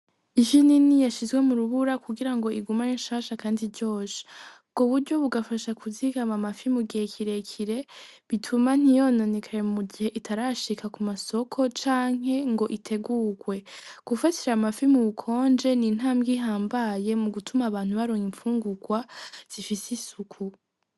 Ifi nini yashizwe mu rubura kugira ngo igume ari nshasha kandi iryoshe. Ubwo buryo bugafasha kuzigama amafi mugihe kirekire, bituma ntiyononekare mugihe itarashika ku masoko canke ngo itegurwe. Gufashisha amafi ku bukonje ni nintambwe ihambaye mu gutuma abantu baronka imfungurwa zifise isuku.